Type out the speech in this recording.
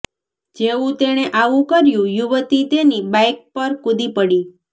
જેવું તેણે આવું કર્યું યુવતી તેની બાઈક પર કૂદી પડી